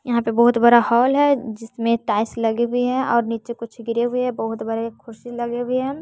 यहां पे बहुत बरा हॉल है जिसमें टाइल्स लगी हुई है और नीचे कुछ गिरे हुए बहुत बड़े कुर्सी लगे हुए हैं।